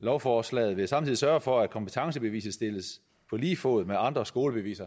lovforslaget vil samtidig sørge for at kompetencebeviset stilles på lige fod med andre skolebeviser